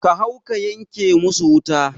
Ka hau ka yanke musu wuta